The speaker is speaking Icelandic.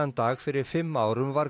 dag fyrir fimm árum var